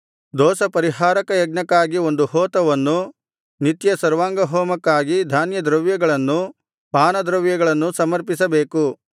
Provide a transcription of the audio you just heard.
ದೋಷಪರಿಹಾರಕ ಯಜ್ಞಕ್ಕಾಗಿ ಒಂದು ಹೋತವನ್ನೂ ನಿತ್ಯ ಸರ್ವಾಂಗಹೋಮಕ್ಕಾಗಿ ಧಾನ್ಯದ್ರವ್ಯಗಳನ್ನೂ ಪಾನದ್ರವ್ಯಗಳನ್ನೂ ಸಮರ್ಪಿಸಬೇಕು